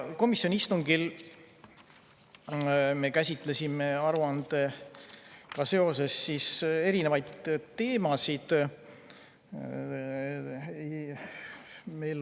Komisjoni istungil me käsitlesime aruandega seoses erinevaid teemasid.